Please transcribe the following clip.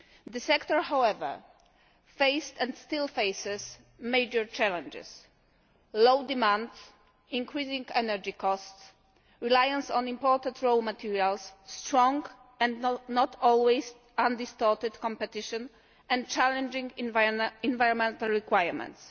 The sector, however, faced and still faces major challenges low demand, increasing energy costs, reliance on imported raw materials, strong and not always undistorted competition and challenging environmental requirements.